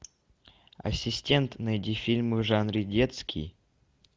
ассистент найди фильм в жанре детский